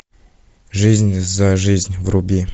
жизнь за жизнь вруби